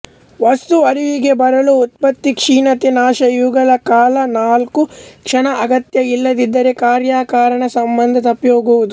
ವಸ್ತು ಅರಿವಿಗೆ ಬರಲು ಉತ್ಪತ್ತಿ ಕ್ಷೀಣತೆ ನಾಶ ಇವುಗಳ ಕಾಲ ನಾಲ್ಕು ಕ್ಷಣ ಅಗತ್ಯ ಇಲ್ಲದಿದ್ದರೆ ಕಾರ್ಯಕಾರಣಸಂಬಂಧ ತಪ್ಪಿಹೋಗುವುದು